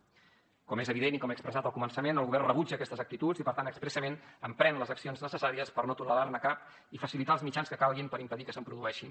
com és evident i com he expressat al començament el govern rebutja aquestes actituds i per tant expressament emprèn les accions necessàries per no tolerar ne cap i facilitar els mitjans que calguin per impedir que se’n produeixin